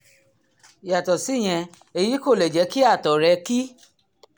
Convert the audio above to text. yàtọ̀ síyẹn èyí kò lè jẹ́ kí àtọ̀ rẹ́ ki